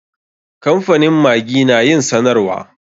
Kamfanin maggi na yin sanarwa.